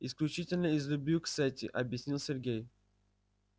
исключительно из любви к сети объяснил сергей